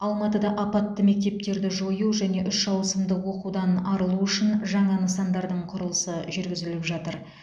алматыда апатты мектептерді жою және үш ауысымды оқудан арылу үшін жаңа нысандардың құрылысы жүргізіліп жатыр